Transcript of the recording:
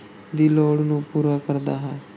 ਦੀ ਲੋੜ ਨੂੰ ਪੂਰਾ ਕਰਦਾ ਹੈ।